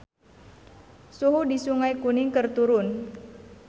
Suhu di Sungai Kuning keur turun